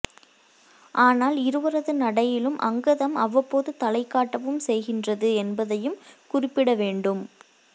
ஆனால் இருவரது நடையிலும் அங்கதம் அவ்வப்போது தலை காட்டவும் செய்கின்றது என்பதையும் குறிப்பிட வேண்டும்